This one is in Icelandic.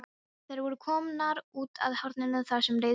Þær voru komnar út að horninu þar sem leiðir skildu.